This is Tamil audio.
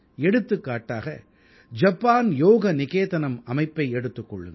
எடுத்துக்காட்டாக ஜப்பான் யோக நிகேதனம் அமைப்பை எடுத்துக் கொள்ளுங்கள்